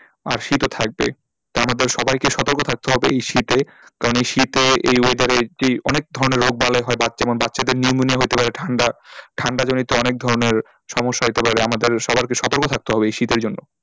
আর শীতও থাকবে তার মধ্যে সবাইকে সতর্ক থাকতে হবে এই শীতে কারণ এই শীতে এই weather এ যেই অনেক ধরনের রোগবালাই হয় বাচ্ছা যেমন বাচ্ছাদের pneumonia হতে পারে ঠান্ডা ঠান্ডাজনিত অনেক ধরণের সমস্যা হতে পারে আমাদের সবাই কে সতর্ক থাকতে হবে এই শীতের জন্য,